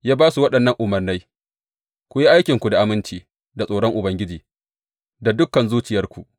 Ya ba su waɗannan umarnai, Ku yi aikinku da aminci da tsoron Ubangiji da dukan zuciyarku.